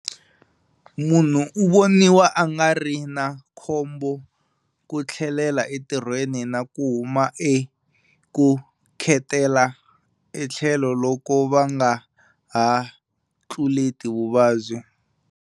Munhu u voniwa a nga ri na khombo ku tlhelela entirhweni na ku huma eku khetela etlhelo loko va nga ha tluleti vuvabyi.